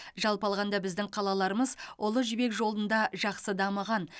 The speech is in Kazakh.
жалпы алғанда біздің қалаларымыз ұлы жібек жолында жақсы дамыған